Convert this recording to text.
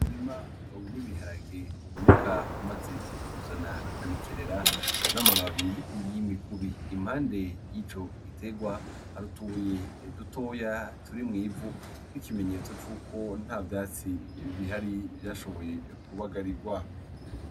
Umurima w'ibiharage uboneka umaze kuzana imigerera n'amababi y'imigubi, impande y'ico giterwa hari utubuye dutoya turi mw'ivu nk'ikimenyetso cuko nta vyatsi bihari vyashoboye kubagarigwa.